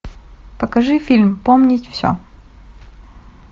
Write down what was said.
покажи фильм помнить все